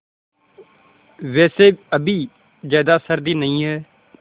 वैसे अभी ज़्यादा सर्दी नहीं है